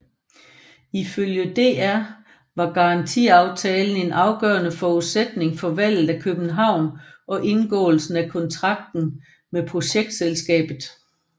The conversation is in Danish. Ifølge DR var garantiaftalen en afgørende forudsætning for valget af København og indgåelsen af kontrakten med Projektselskabet